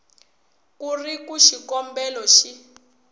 ku ri ku xikombelo xi